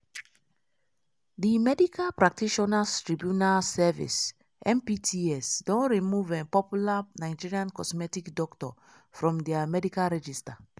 di medical practitioners tribunal service (mpts) don remove popular nigerian cosmetic doctor from dia medical register.